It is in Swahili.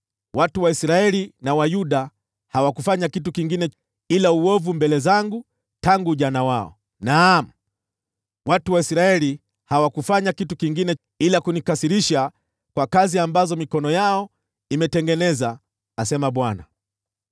“Watu wa Israeli na wa Yuda hawakufanya kitu kingine ila uovu mbele zangu tangu ujana wao. Naam, watu wa Israeli hawakufanya kitu kingine ila kunikasirisha kwa kazi ambazo mikono yao imetengeneza, asema Bwana .